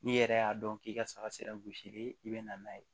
N'i yɛrɛ y'a dɔn k'i ka saga sera gosili i be na n'a ye